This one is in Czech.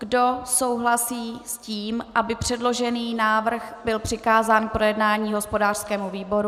Kdo souhlasí s tím, aby předložený návrh byl přikázán k projednání hospodářskému výboru?